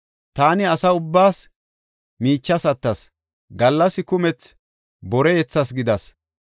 Taani asa ubbaas miichas attas; gallas kumethi bore yethas gidas.